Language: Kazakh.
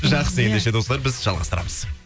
жақсы ендеше достар біз жалғастырамыз